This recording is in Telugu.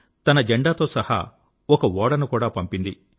తన జెండా తో సహా ఒక ఓడను కూడా పంపింది